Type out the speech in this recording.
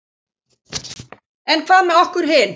En hvað með okkur hin?